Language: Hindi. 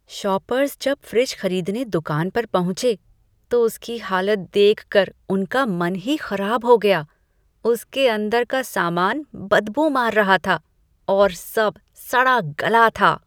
शॉपर्स जब फ्रिज खरीदने दुकान पर पहुँचे, तो उसकी हालत देखकर उनका मन ही खराब हो गया, उसके अंदर का सामान बदबू मार रहा था और सब सड़ा गला था।